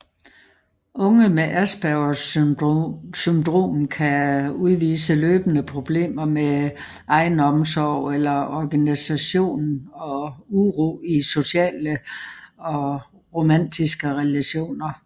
Unge med Aspergers syndrom kan udvise løbende problemer med egenomsorg eller organisation og uro i sociale og romantiske relationer